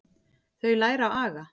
Þau læra aga.